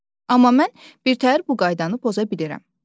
Amma mən birtəhər bu qaydanı poza bilirəm.